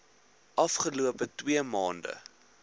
afgelope twaalf maande